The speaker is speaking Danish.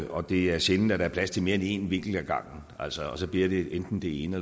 og det er sjældent der er plads til mere end én vinkel ad gangen og så så bliver det enten det ene